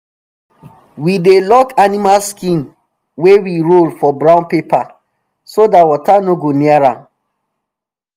we dey lock animal skin wey we roll for brown paper so dat water no go near am